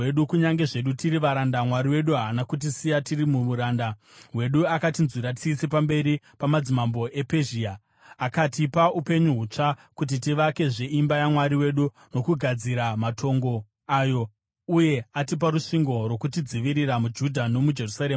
Kunyange zvedu tiri varanda, Mwari wedu haana kutisiya tiri muuranda hwedu. Akatinzwira tsitsi pamberi pamadzimambo ePezhia: Akatipa, upenyu hutsva kuti tivakezve imba yaMwari wedu nokugadzira matongo ayo, uye atipa rusvingo rwokutidzivirira muJudha nomuJerusarema.